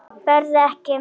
Berð ekki.